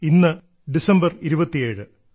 ഇന്ന് ഡിസംബർ 27